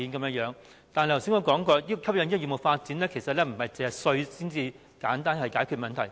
不過，要促進業務發展並不能只靠改變稅制，便能簡單解決問題。